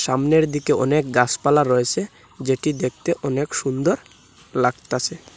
আমনের দিকে অনেক গাসপালা রয়েসে যেটি দেখতে অনেক সুন্দর লাগতাসে।